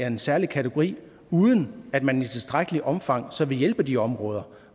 en særlig kategori uden at man i tilstrækkeligt omfang så vil hjælpe de områder